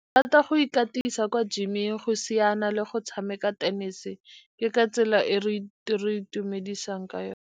Thata go ikatisa kwa gym-eng, go siana le go tshameka tenese. Ke ka tsela e re itumedisang ka yone.